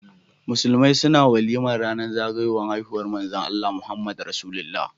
Musulmai na walimar ranar zagayowar haihuwar manzon Allah, Muhammad rasulullah